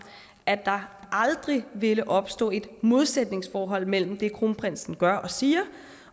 at der aldrig ville opstå et modsætningsforhold mellem det kronprinsen gør og siger